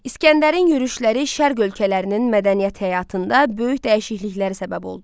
İsgəndərin yürüşləri şərq ölkələrinin mədəniyyət həyatında böyük dəyişikliklərə səbəb oldu.